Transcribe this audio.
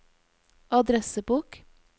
adressebok